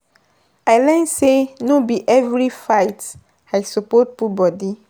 I learn sey no be every fight I suppose put body.